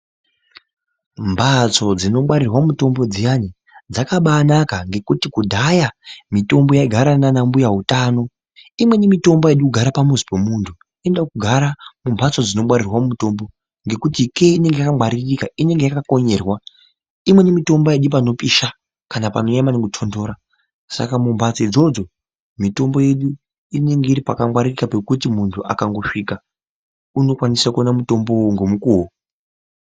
Mbatso dzinongwarirwa mutombo dziyani dzakabanaka ngekuti kudhaya mitombo yaigara nanambuya utano. Imweni mitombo haidi kugara pamuzi pomuntu. Inoda kugara mumbatso dzinongwarirwa mitombo, ngekuti ikeyo inenge yakangwaririka. Inenge yakakonyerwa. Imweni mitombo haidi panopisha kana panonyanya maningi kutondora, saka mumbatso idzodzo, mitombo yedu inenge iri pakangwaririka pekuti muntu akangosvika , unokwanisa kuwana mutombo iwowowo ngomukuwo.